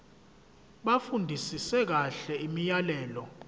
bafundisise kahle imiyalelo